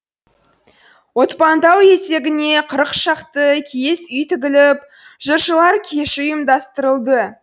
отпантау етегіне қырық шақты киіз үй тігіліп жыршылар кеші ұйымдастырылды